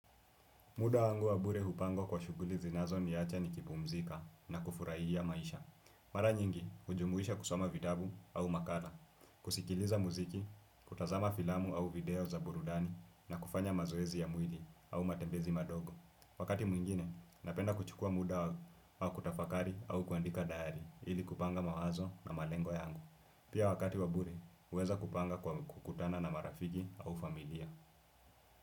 Muda wangu wabure hupangwa kwa shughuli zinazo niacha ni kibu mzika na kufuraihi ya maisha. Mara nyingi, hujumuisha kusoma vidabu au makala, kusikiliza muziki, kutazama filamu au video za burudani na kufanya mazoezi ya mwili au matembezi madogo. Wakati mwingine, napenda kuchukua muda wa kutafakari au kuandika dahari ili kupanga mawazo na malengo yangu. Pia wakati wabure, uweza kupanga kwa kukutana na marafigi au familia.